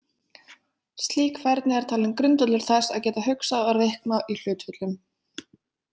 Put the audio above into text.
Slík færni er talin grundvöllur þess að geta hugsað og reiknað í hlutföllum.